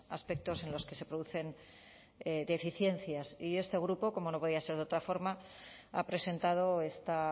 aspectos en los que se producen deficiencias y este grupo como no podía ser de otra forma ha presentado esta